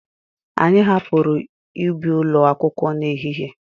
Anyị hapụrụ ubi ụlọ akwụkwọ na ehihie.